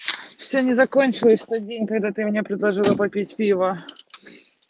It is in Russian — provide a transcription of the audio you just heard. всё не закончилось в тот день когда ты мне предложила попить пива